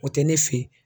O tɛ ne fe ye